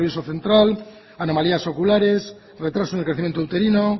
nervioso central anomalías oculares retraso en el crecimiento uterino